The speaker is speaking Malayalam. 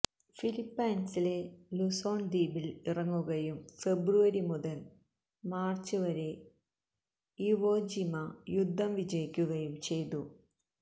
ഫിലിപ്പൈൻസിലെ ലുസോൺ ദ്വീപിൽ ഇറങ്ങുകയും ഫെബ്രുവരി മുതൽ മാർച്ച് വരെ ഇവോ ജിമ യുദ്ധം വിജയിക്കുകയും ചെയ്തു